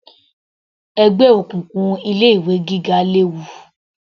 Ẹgbẹ́ òkùnkùn ilé ìwé gíga léwu